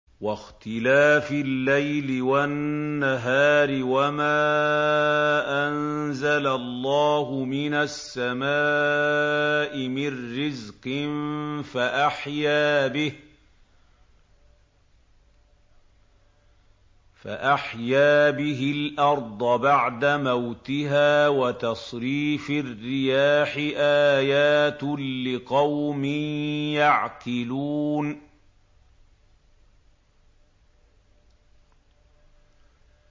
وَاخْتِلَافِ اللَّيْلِ وَالنَّهَارِ وَمَا أَنزَلَ اللَّهُ مِنَ السَّمَاءِ مِن رِّزْقٍ فَأَحْيَا بِهِ الْأَرْضَ بَعْدَ مَوْتِهَا وَتَصْرِيفِ الرِّيَاحِ آيَاتٌ لِّقَوْمٍ يَعْقِلُونَ